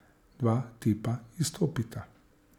Dva tipa izstopita.